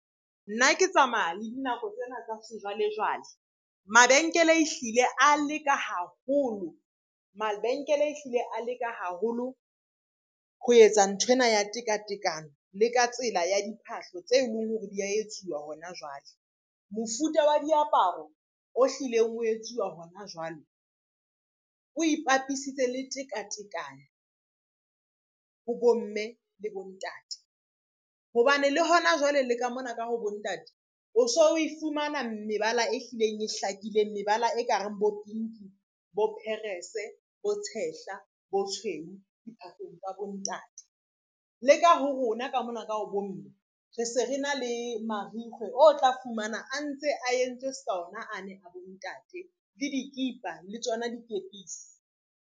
Nna ke tsamaya le dinako tsena tsa sejwalejwale. Mabenkele e hlile a leka haholo, mabenkele e hlile a leka haholo ho etsa nthwena ya tekatekano le ka tsela ya diphahlo tse leng hore dia etsuwa hona jwale. Mofuta wa diaparo o hlileng o etsuwa hona jwale, o ipapisitse le tekatekano ho bomme le bontate, hobane le hona jwale le ka mona ka ho bo ntate o so o e fumana mebala e hlileng e hlakileng. Mebala e ka reng bo pinki, bo perese, bo tshehla, bo tshweu diphahlong tsa bontate, mme leka ho rona ka mona ka ho bomme re se re na le marikgwe, o tla fumana a ntse a entse ska ona ane a bontate le dikipa le tsona dikepisi.